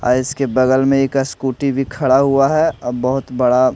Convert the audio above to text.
आ इसके बगल में एक स्कूटी भी खड़ा हुआ है बहुत बड़ा--